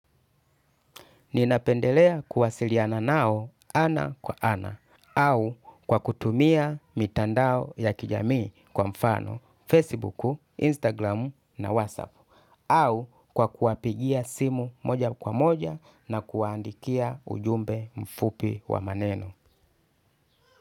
Ninapendelea kuwasiliana nao ana kwa ana au kwa kutumia mitandao ya kijamii kwa mfano Facebook, Instagram na WhatsApp au kwa kuwapigia simu moja kwa moja na kuwaandikia ujumbe mfupi wa maneno.